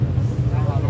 Qardaş.